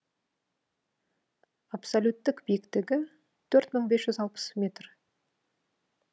абсолюттік биіктігі төрт мың бес жүз алпыс метр